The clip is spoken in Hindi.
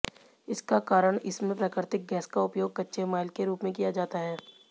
इसका कारण इसमें प्राकृतिक गैस का उपयोग कच्चे माल के रूप में किया जाता है